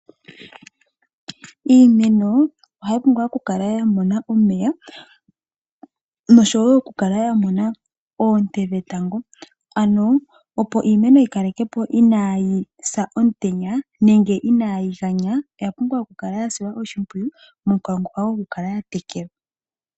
Iimeno ohayi pumbwa okukala ya mona omeya, nosho woo okukala yamona oonte dhe tango. Opo iimeno yi kalekepo inaayi sa omutenya nenge inaayi ganya oya pumbwa. Oya pumbwa okukala ya silwa oshimpwiyu, momukalo gwo ku kala ya tekelwa .